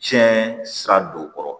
Tiɲɛ sira don o kɔrɔ